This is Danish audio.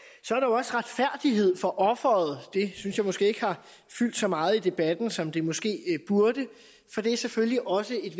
også retfærdighed for offeret og det synes jeg måske ikke har fyldt så meget i debatten som det måske burde for det er selvfølgelig også et